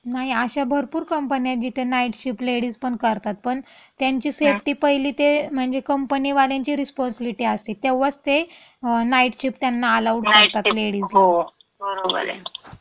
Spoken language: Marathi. नाही. अशा भरपूर कंपन्या येत जिथे नाईट शिफ्ट लेडीजपण करतात पण त्यांची सेफ्टी पहिली ते म्हणजे कंपनीवाल्यांची रिस्पाँसिबिलिटी असते तेव्हाच ते नाईट शिफ्ट त्यांना अलाऊड करतात, लेडीजला. हम्म. शिफ्ट, हो, बरोबर ये.